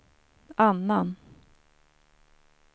annan